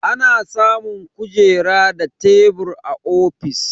Ana samun kujera da tebur a ofis.